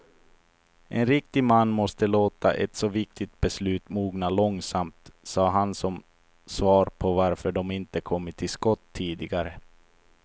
En riktig man måste låta ett så viktigt beslut mogna långsamt, sade han som svar på varför de inte kommit till skott tidigare.